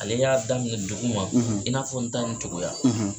Ale y'a daminɛ dugu ma i n'a fɔ n ta nin cogoya.